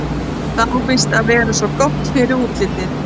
Það á víst að vera svo gott fyrir útlitið.